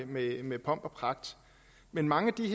med med pomp og pragt men mange de